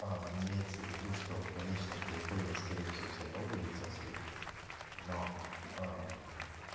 имеется в виду что в конечном то итоге скорее всего всё равно будет счастлив но